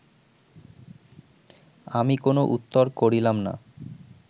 আমি কোন উত্তর করিলাম না